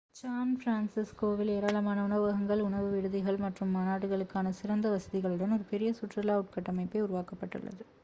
San பிரான்சிஸ்கோவில் ஏராளமான உணவகங்கள் உணவு விடுதிகள் மற்றும் மாநாடுகளுக்கான சிறந்த வசதிகளுடன் ஒரு பெரிய சுற்றுலா உட்கட்டமைப்பை உருவாக்கப்பட்டுள்ளது